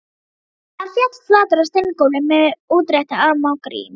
Hann féll flatur á steingólfið með útrétta arma og rím